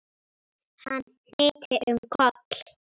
Hann hnyti um koll!